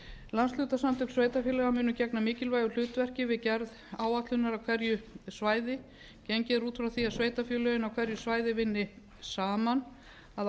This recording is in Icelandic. landshlutasamtök sveitarfélaga munu gegna mikilvægu hlutverki við gerð áætlunar á hverju svæði gengið er út frá því að sveitarfélögin á hverju svæði vinni saman að